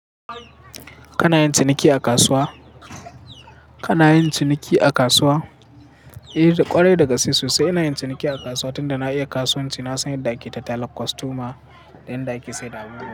Kana yin ciniki a kasuwa? Kana yin ciniki a kasuwa? Eh, kwarai daga sai sosai ina yin ciniki a kasuwa, tunda na iya kasuwanci na san yadda ake tattala kostoma da yanda ake saida abubuwa.